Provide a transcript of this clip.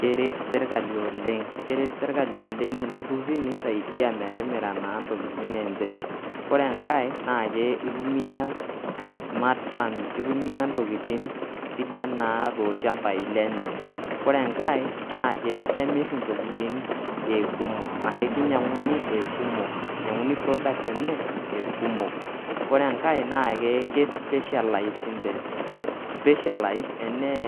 Keret sirkali oleng' keret sirkali oleng' itururi nisaidia metimira naa ntokitin enje. Kore enkae kitumia smart farming, kitumia ntokitin naa sidan toolchambai lenye. Kore enkae naake kemir intokitin e kumok, anashe kinyang'uni e kumok inyang'uni products enye e kumok. Kore enkae naake ke specialized inje , specialized enee